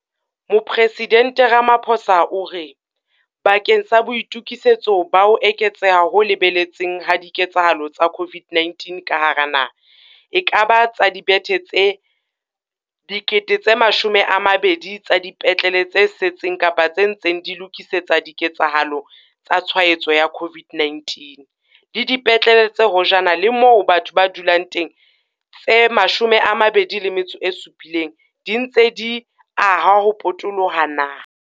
Mopresidente Ramaphosa o re, bakeng sa boitokisetso bakeng sa ho eketseha ho lebeletsweng ha ditshwaetso tsa COVID-19 ka hara naha, ekaba tsa dibethe tse 20 000 tsa dipetlele tse seng kapa tse ntseng di lokisetswa diketsahalo tsa tshwaetso ya COVID-19, le dipetlele tse hojana le moo batho ba dulang teng tse 27 di se dintse di ahwa ho potoloha naha.